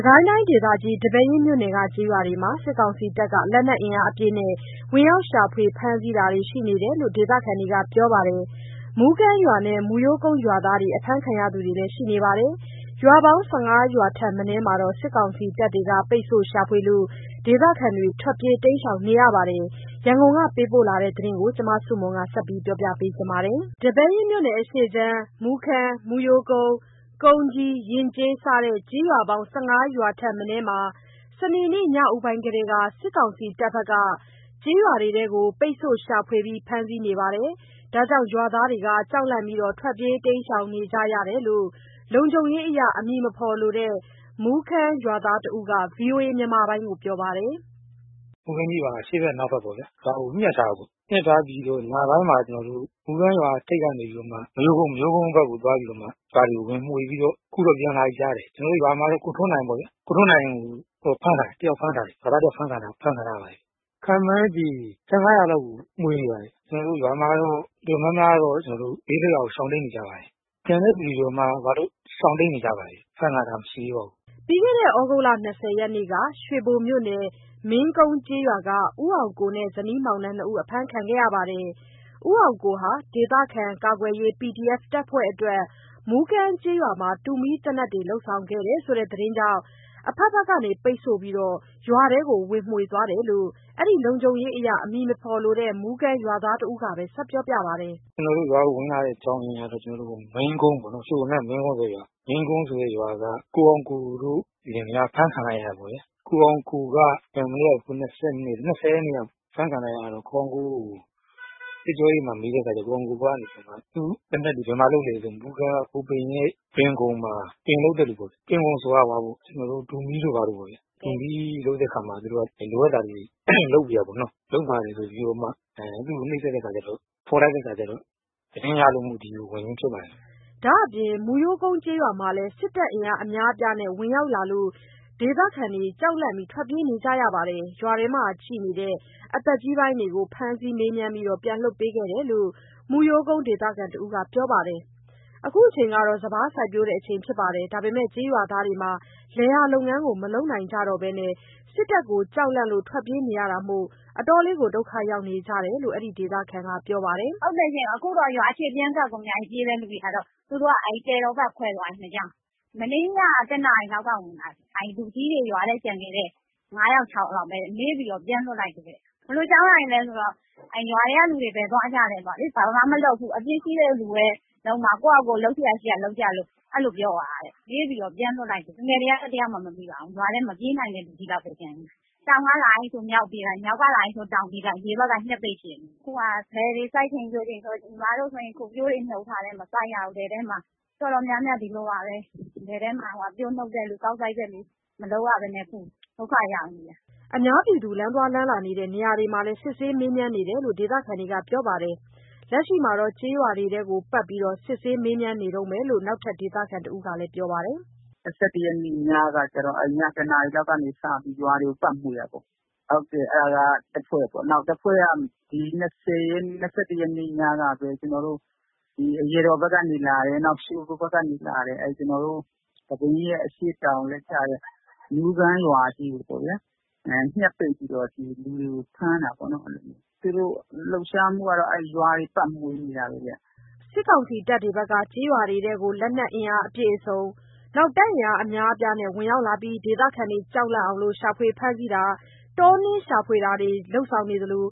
ကိုင်းတိုင်းဒေသကြီး၊ ဒီပဲယင်းမြို့နယ်က ကျေးရွာတွေမှာ စစ်ကောင်စီတပ်က လက်နက်အင်အားအပြည့်နဲ့ ဝင်ရောက်ရှာဖွေ ဖမ်းဆီးတာတွေရှိနေတယ်လို့ ဒေသခံတွေကပြောပါတယ်။ မူးကမ်းရွာနဲ့ မူးရိုးကုန်းရွာသားတွေ အဖမ်းခံရသူတွေရှိနေပါတယ်။ ရွာပေါင်း ၁၅ ရွာထက်မနည်းမှာ စစ်ကောင်စီတပ်တွေ ပိတ်ဆို့ရှာဖွေလို့ ဒေသခံတွေထွက်ပြေးတိမ်းရှောင်နေရပါတယ်။ ရန်ကုန်ကပေးပို့တဲ့ သတင်းကို မဆုမွန်က တင်ပြပေးထားပါတယ်။ ဒီပဲယင်းမြို့နယ် အရှေ့ခြမ်း မူးကမ်း၊ မူးရိုးကုန်း၊ ကုန်းကြီး၊ ယဉ်ကျေး စတဲ့ ကျေးရွာပေါင်း ၁၅ ရွာထက်မနည်းမှာ စနေနေ့ညဦးပိုင်းကတည်းက စစ်ကောင်စီတပ်က ရွာတွေကို ပိတ်ဆို့ရှာဖွေဖမ်းဆီးနေလို့ ရွာသားတွေ ကြောက်လန့်ပြီး ထွက်ပြေးတိမ်းရှောင်နေကြရတယ်လို့ လုံခြုံရေးအရ နာမည်မဖော်လိုတဲ့ မူးကမ်းရွာသားတဦးက ဗွီအိုအေကို ပြောပါတယ်။ “မူးကမ်းကြီးရွာကို အရှေ့ဖက် အနောက်ဖက်ပေါ့ဗျ။ ရွာကို ညှပ်ထားတယ်။ ညှပ် ထားပြီးတော့ ညပိုင်းမှာ ကျနော်တို့ မူးကမ်းရွာထိပ်ကနေပြီးတော့မှ မရိုးကုန်းဘက်ကိုသွားပြီး ရွာတွေကို ဝင်မွှေးပြီးတော့ အခုတော့ ပြန်လာပြီကြားတယ်။ ကျနော်တို့ရွာမှာတော့ ကိုထွန်းနိုင်ပေါ့ဗျာ။ ကိုထွန်းနိုင်ကို ဖမ်းထားတယ်။ ရွာသားတယောက်ဖမ်းခံထားရပါတယ်။ ခန့်မှန်းခြေ ၁၅ လောက်ကို မွှေနေပါတယ်။ ကျနော်တို့ရွာမှာတော့ တော်တော်များတော့ ဘေးလွတ်ရာကို ရှောင်တိမ်းနေကြပါတယ်။ ကျန်တဲ့သူတွေရှောင် တိမ်းနေကြပါတယ်။ အဖမ်းခံထားတာမရှိသေးပါဘူး။” ပြီးခဲ့တဲ့ သြဂုတ်လ ၂၀ ရက်နေ့က ရွှေဘိုမြို့နယ်၊ မင်းကုန်းကျေးရွာက ကိုအောင်ကိုတို့ဇနီးမောင်နှံ နှစ်ဦး အဖမ်းခံရပြီး ကိုအောင်ကိုဟာ ဒေသခံကာကွယ်ရေး PDF တပ်ဖွ့ဲတွေအတွက် မူးကမ်းကျေးရွာမှာ တူမီးသေနတ်တွေ လုပ်ဆောင်ခဲ့တယ်ဆိုတဲ့သတင်းကြောင့် အဖက်ဖက်က ပိတ်ဆို့ပြီး ရွာထဲဝင်မွှေသွားတယ်လို့ အဲ့ဒီ လုံခြုံရေးအရ နာမည်မဖော်လိုတဲ့ မူးကမ်းရွာသား တဦးက ဆက်ပြောပါတယ်။ “ကျနော်တို့ရွာကိုဝင်လာတဲ့ အကြောင်းရင်းကတော့ ကျနော်တို့ မင်းကွန်းပါ့နော်။ ရွှေဘိုက မင်းကွန်းဆိုတဲ့ရွာက ကိုအောင်ကိုတို့ လင်မယား အဖမ်းခံလိုက်ရတယ်ပေါ့ဗျာ။ ၂၀ ရက်နေ့က အဖမ်းခံလိုက်ရတော့ ကိုအောင်ကိုကို စစ်ကြောရေးမှာ မေးတဲ့အခါကျတော့ ကိုအောင်ကိုကနေပြီးတော့ သူ့ သေနတ်တွေ ဘယ်မှာလုပ်လဲဆိုတော့ မူးကမ်းက ကိုဘိမ်းရဲ့ တွင်ခုံမှာ ပင်လုပ်တဲ့လူပေ့ါဗျာ။ တွင်ခုံဆိုတာ ဟိုဟာပေ့ါ ကျနော်တို့ တူမီး တို့ ဘာတို့ပေါ့ဗျာ၊ တူးမီးလုပ်တဲ့အခါမှာ လိုအပ်တာတွေ လုပ်ပေးရတာပေါ့နော်။ လုပ်ပါတယ်ဆိုပြီးတော့မှ သူ့ကို နှိပ်စက်တဲ့အခါကျတော့ ဖော်လိုက်တဲ့အခါကျတော့ သတင်းရလို့မို့ ဝင်ခြင်းဖြစ်ပါတယ်။” ဒါအပြင် မူးရိုးကုန်းကျေးရွာမှာလည်း စစ်တပ်အင်အားအများအပြားနဲ့ဝင်ရောက်လာလို့ ဒေသခံတွေ ကြောက်လန့်ထွက်ပြေးနေကြရပါတယ်။ ရွာထဲမှာ ကျန်ရှိနေတဲ့ အသက်ကြီးပိုင်းတွေကို ဖမ်းဆီးမေးမြန်းပြီး ပြန်လွှတ်ပေးခဲ့တယ်လို့ မူးရိုးကုန်းဒေသခံတဦးက ပြောပါတယ်။ လက်ရှိချိန်မှာ စပါးစိုက်ပျိုးချိန်ဖြစ်ပြီး လယ်ယာလုပ်ငန်းကိုမလုပ်နိုင်ဘဲ စစ်တပ်ကို ကြောက်လန့်လို့ ထွတ်ပြေးနေရတာမို့ ဒုက္ခရောက်နေကြတယ်လို့ အဲ့ဒီဒေသခံက ပြောပါတယ်။ “ဟုတ်တယ်ရှင့်၊ အခုတော့ရွာအခြေ ပြန်ကပ်ကုန်ကြပြီး ပြေးတဲ့ လူတွေကတော့။..... မနေ့ညက ၁ နာရီလောက်က ဝင်လာတယ်။ ရွာထဲကျန်ခဲ့တဲ့ လူကြီးတွေ ၅ ယောက် ၆ ယောက်ပဲ မေးပြီး ပြန်လွှက်တယ်တဲ့။ ဘယ်လိုအကြောင်းအရာတွေလဲဆိုတော့... ရွာထဲကလူတွေ ဘယ်သွားကြလဲပေါ့လေ။ ဘာမှမလုပ်ဘူး။ အပြစ်ရှိတဲ့လူပဲ လုပ်မှာ၊ ကိုယ်ဟာကိုယ်လုပ်စရာရှိတာလုပ်လို့ အဲ့လိုပြောသွားတယ်။ လူငယ်တွေက တယောက်မှမမိပါဘူး။ ရွာထဲမှာက မပြေးနိုင်တဲ့ လူကြီးလောက်ပဲ ကျန်နေတယ်။ တောင်ဘက်ကလာပြီးဆို မြောက်ဘက်ပြေးလိုက်၊ မြောက်ကလာတယ်ဆို တောင်ပြေးလိုက်။ ဒီဘက်က ညှပ်ပိတ်ရှိတယ်။ အခုဟာက လယ်တွေ စိုက်ချိန်ပျိုးချိန်ဆို ညီမတို့ဆိုရင် အခုပျိုးတွေ နှုတ်ထားတယ်။ မစိုက်ရဘူး။ တော်တော်များများ ဒီလိုပါပဲ။ လယ်ထဲမှာ ပျိုးနှုတ်တဲ့လူ၊ ကောက်စိုက်တဲ့လူ မလုပ်ရဘဲနဲ့ ဒုက္ခရောက်နေတယ်။” လမ်းသွားလမ်းလာတဲ့ နေရာမှာလည်း စစ်ဆေးမေးမြန်းတာတွေရှိနေတယ်လို့ ဒေသခံတွေ ပြောပါတယ်။ လက်ရှိမှာလည်း ကျေးရွာတွေကို ပတ်မွှေနေတုန်းပဲလို့ နောက်ထပ် ဒေသခံတဦးက ပြောပါတယ်။ “၂၁ ရက်နေ့ညကတော့ ည ၁ နာရီလောက်ကနေ စပြီး ရွာတွေကို ပတ်မွှေတာပေါ့။ ဟုတ်တယ် အဲ့ဒါက တဖွဲ့ပေါ့နော်။ နောက်တဖွဲ့က ၂၁ နေ့ညကပဲ ကျနော်တို့ အရာတော်ဘက်ကနေလာတယ်။ နောက် ရွှေဘိုဘက်ကနေ လာတယ်။ ဒီပဲယင်းရဲ့ အရှေ့တောင်လည်းကျတဲ့ မူးကမ်းရွာကြီးကိုပေါ့ဗျာ၊ ညှပ်ပိတ်ပြီးတော့ လူတွေကိုဖမ်းတာပေါ့နော်။ အဲ့လိုမျိုးတွေ သူတို့လှုပ်ရှားမှုတွေကတော့ ရွာတွေ ပတ်မွှေနေတာပေါ့ဗျာ။” စစ်ကောင်စီတပ်တွေက လက်နက်အပြည့်အစုံ အင်အားအများအပြားနဲ့ ဒေသခံတွေ ကြောက်လန့်အောင် ရှာဖွေဖမ်းဆီးတာ၊ တောနင်းရှာဖွေတာလုပ်ဆောင်နေသလိ